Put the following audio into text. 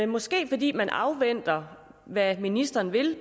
måske fordi man afventer hvad ministeren vil